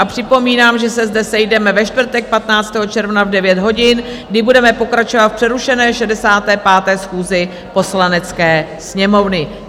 A připomínám, že se zde sejdeme ve čtvrtek 15. června v 9 hodin, kdy budeme pokračovat v přerušené 65. schůzi Poslanecké sněmovny.